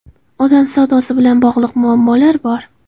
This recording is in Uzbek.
Odam savdosi bilan bog‘liq muammolar bor.